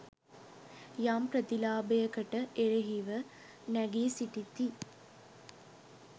යම් ප්‍රතිලාභයකට එරහිව නැගී සිටිති